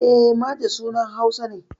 E, Maje sunan Hausa ne.